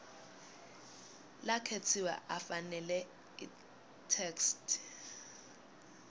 lakhetsiwe afanele itheksthi